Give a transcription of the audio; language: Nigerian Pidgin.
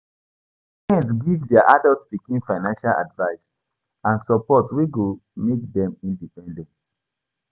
Some parents give their adult pikin financial advice and support wey go make dem independent